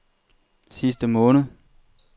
sidste måned